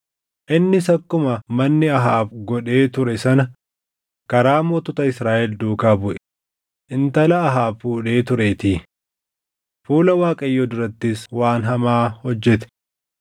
Innis akkuma manni Ahaab godhee ture sana karaa mootota Israaʼel duukaa buʼe; intala Ahaab fuudhee tureetii. Fuula Waaqayyoo durattis waan hamaa hojjete.